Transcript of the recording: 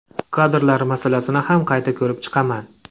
Kadrlar masalasini ham qayta ko‘rib chiqaman.